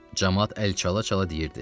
Camaat əl çala-çala deyirdi: